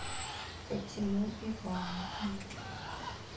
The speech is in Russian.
фатиму ивановну